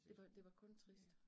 Det var det var kun trist